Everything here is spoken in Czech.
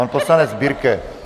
Pan poslanec Birke.